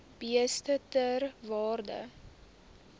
beeste ter waarde